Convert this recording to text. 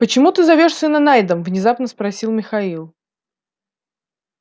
почему ты зовёшь сына найдом внезапно спросил михаил